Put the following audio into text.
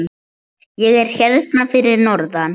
Ég er hérna fyrir norðan.